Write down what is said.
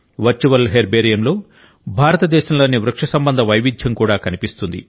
virtual హెర్బేరియంలో భారతదేశంలోని వృక్ష సంబంధ వైవిధ్యం కూడా కనిపిస్తుంది